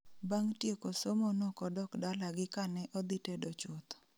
Bang' tieko somo nokodok dalagi ka ne odhi tedo chuth